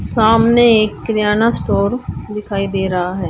सामने एक किरयाना स्टोर दिखाई दे रहा है।